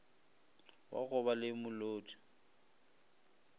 wa go ba le molodi